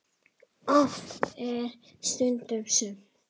Oft er stundum sumt.